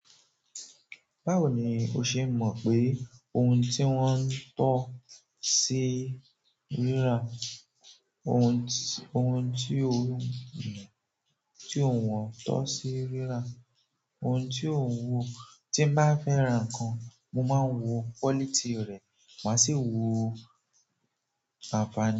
Báwo ni o ṣe mọ̀ pé ohun tí wọ́n ń tọ́ ṣe rí ra? Ohun, ohun tí ò ń wọ́n ń tọ́ ṣe ríra, ohun tí ò ń wo, tí bá fẹ́ ra nǹkan, mo máa ń wo quality rẹ̀, màá sì wo àfààní.